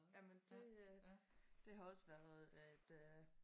Jamen det øh det har også været et øh